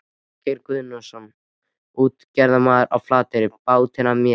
Ásgeir Guðnason, útgerðarmaður á Flateyri, bátinn af mér.